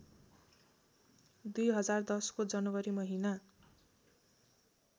२०१० को जनवरी महिना